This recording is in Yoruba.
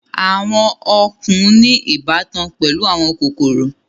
Àwọn ọ̀kàn ní ìbátan pẹ̀lú àwọn kòkòrò.